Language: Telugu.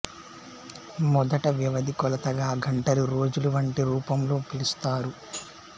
మొదట వ్యవధి కొలతగా గంటలు రోజులు వంటి రూపంలో పిలుస్తారు